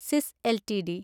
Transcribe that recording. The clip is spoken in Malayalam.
സിസ് എൽടിഡി